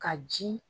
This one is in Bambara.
Ka ji